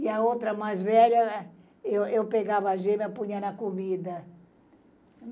E a outra mais velha, eu, eu pegava a gema, e punha na comida.